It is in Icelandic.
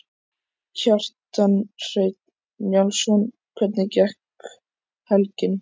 Kjartan Hreinn Njálsson: Hvernig gekk helgin?